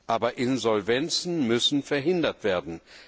Aber Insolvenzen müssen verhindert werden.